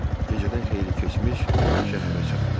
Gecədən xeyli keçmiş şəhərə çatdı.